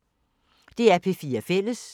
DR P4 Fælles